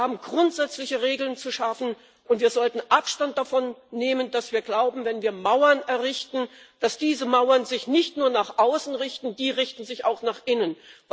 Wir haben grundsätzliche Regeln zu schaffen, und wir sollten Abstand davon nehmen, dass wir glauben, wenn wir Mauern errichten, dann richten sich diese Mauern nur nach außen die richten sich auch nach innen.